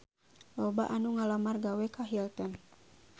Loba anu ngalamar gawe ka Hilton